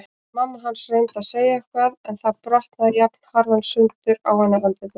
Mamma hans reyndi að segja eitthvað en það brotnaði jafnharðan sundur á henni andlitið.